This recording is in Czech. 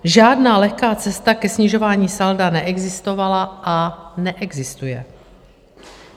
Žádná lehká cesta ke snižování salda neexistovala a neexistuje.